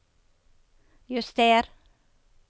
juster